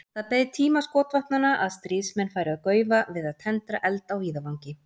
Það beið tíma skotvopnanna að stríðsmenn færu að gaufa við að tendra eld á víðavangi.